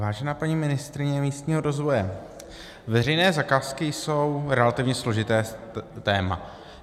Vážená paní ministryně místního rozvoje, veřejné zakázky jsou relativně složité téma.